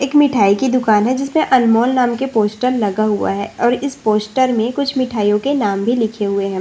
एक मिठाई की दुकान है जिसमें अनमोल नाम के पोस्टर लगा हुआ है और इस पोस्टर में कुछ मिठाइयों के नाम भी लिखे हुए हैं।